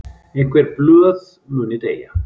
Einhver blöð muni deyja